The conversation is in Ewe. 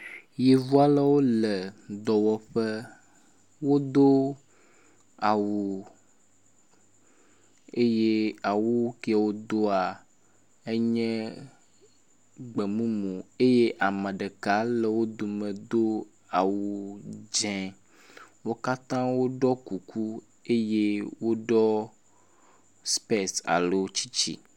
Yevu alewo le dɔwɔƒe. Wodo awu eye awu kewo doa enye gbe mumu eye ame ɖeka le wo dome do awu dzɛ. Wo katã woɖɔ kuku eye woɖɔ spece alo tsitsi.